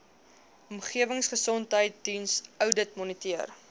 omgewingsgesondheidsdiens oudit moniteer